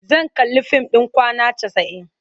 Zan kalli fim ɗin Kwana Casa'in.